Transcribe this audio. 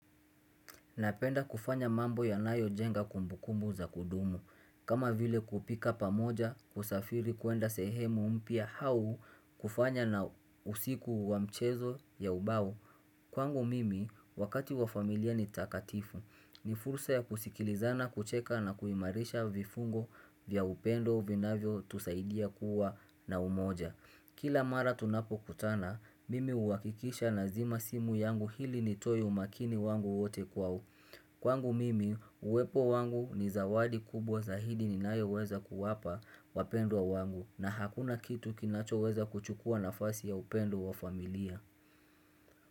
Napenda kufanya mambo yanayo jenga kumbu kumbu za kudumu. Kama vile kupika pamoja kusafiri kuenda sehemu mpya hau kufanya na usiku wa mchezo ya ubao. Kwangu mimi wakati wa familia ni takatifu. Ni fursa ya kusikilizana kucheka na kuimarisha vifungo vya upendo vina vyo tusaidia kuwa na umoja. Kila mara tunapo kutana, mimi huwakikisha na zima simu yangu hili nitoe umakini wangu wote kwao. Kwangu mimi, uwepo wangu ni zawadi kubwa zahidi ninayo weza kuwapa wapendo wa wangu na hakuna kitu kinacho weza kuchukua nafasi ya upendo wa familia.